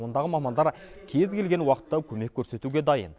ондағы мамандар кез келген уақытта көмек көрсетуге дайын